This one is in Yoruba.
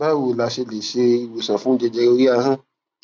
báwo la ṣe lè se iwosan fun jẹjẹre ori ahan